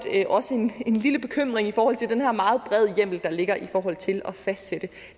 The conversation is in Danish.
også en lille bekymring over den her meget brede hjemmel der ligger i forhold til at fastsætte